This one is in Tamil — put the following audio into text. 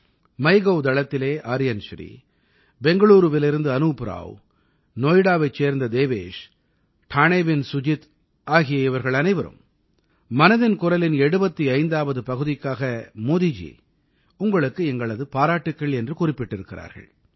மைகோவ் தளத்திலே ஆர்யன் ஸ்ரீ பெங்களூருவிலிருந்து அனூப் ராவ் நோய்டாவைச் சேர்ந்த தேவேஷ் டாணேவின் சுஜித் ஆகிய இவர்கள் அனைவரும் மனதின் குரலின் 75ஆவது பகுதிக்காக மோதிஜி உங்களுக்கு எங்களது பாராட்டுக்கள் என்று குறிப்பிட்டிருக்கிறார்கள்